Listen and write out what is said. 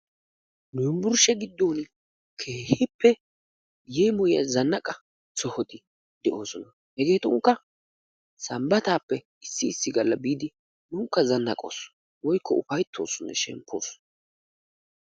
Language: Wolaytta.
yunburshe giddon keehippe yeemoyiya zannaqa sohoti de'oosona, hegeetuppe sambataappe issi issi galla biidi nunikka zanaqoos woykko ufayttoos shemppi ekkoos.